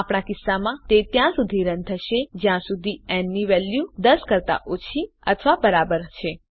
આપણા કિસ્સામાં તે ત્યાં સુધી રન થશે જ્યાં સુધી ન ની વેલ્યુ 10 કરતા ઓછી અથવા બરાબર છે